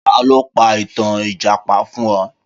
Ta ló pa ìtàn ìjàpá fún ẹ?